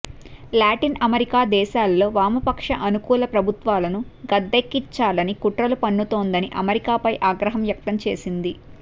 Latin America దేశాల్లో వామపక్ష అనుకూల ప్రభుత్వాలను గద్దెదించాలని కుట్రలు పన్నుతోందని అమెరికాపై ఆగ్రహం వ్యక్తం చేసింది